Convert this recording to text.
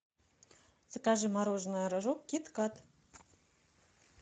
закажи мороженое рожок кит кат